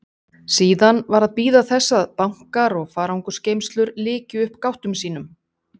Síðan var að bíða þess að bankar og farangursgeymslur lykju upp gáttum sínum.